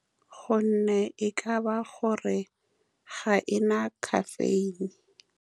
Ka gonne e ka ba gore ga e na caffeine.